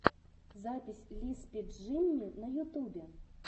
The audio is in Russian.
запись лиспи джимми на ютюбе